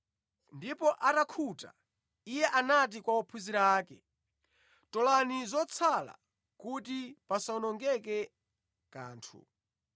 Ndipo atakhuta, Iye anati kwa ophunzira ake, “Tolani zotsala kuti pasawonongeke kanthu.”